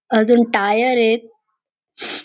अजून टायर येत.